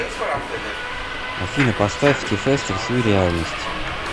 афина поставь ти фест рисуй реальность